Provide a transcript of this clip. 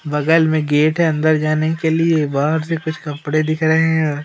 बगल में गेट हैं अंदर जाने के लिए बाहर से कुछ कपड़े दिख रहें हैं।